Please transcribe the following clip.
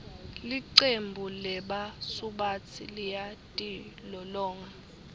licembu lebasubatsi liyatilolonga